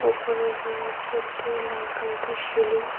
ওপরে রয়েছে একটি লাল কালারের সিলিং ।